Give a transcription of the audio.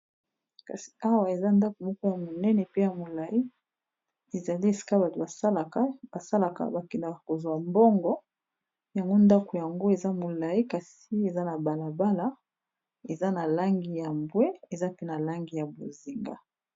Kasi awa eza ndako moko ya monene pe ya molai, ezali esika batu salaka basalaka bakendaka kozwa mbongo yango ndako yango eza molai kasi eza na balabala eza na langi ya mbwe eza mpe na langi ya bozenga.